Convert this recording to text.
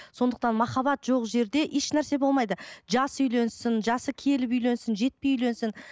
сондықтан махаббат жоқ жерде ешнәрсе болмайды жас үйленсін жасы келіп үйленсін жетпей үйленсін